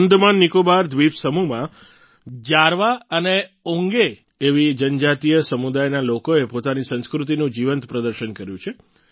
આંદામાનનિકોબાર દ્વીપ સમૂહમાં જારવા અને ઓંગે એવી જનજાતીય સમુદાયના લોકોએ પોતાની સંસ્કૃતિનું જીવંત પ્રદર્શન કર્યું છે